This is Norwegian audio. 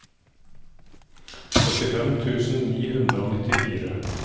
syttifem tusen ni hundre og nittifire